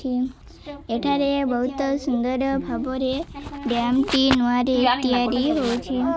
ଏଠାରେ ବହୁତ ସୁନ୍ଦର ଭାବରେ ଡ୍ୟାମ ଟି ନୂଆ ରେ ତିଆରି ହଉଛି।